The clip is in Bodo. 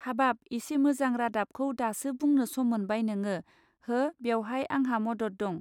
हाबाब इसे मोजां रादाबखौ दासो बुंनो सम मोनबाय नोंङो हो बेवहाय आंहा मदद दं.